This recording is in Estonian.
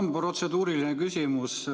Mul on protseduuriline küsimus.